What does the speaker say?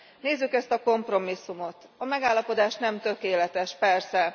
Nézzük ezt a kompromisszumot a megállapodás nem tökéletes, persze.